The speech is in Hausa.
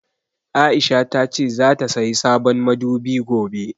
Aisha tace zata sayi sabon madubi gobe.